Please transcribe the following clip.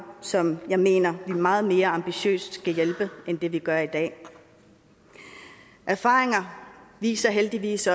som jeg mener vi meget mere ambitiøst end vi vi gør i dag erfaringer viser heldigvis